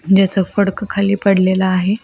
ज्याच फडक खाली पडलेल आहे.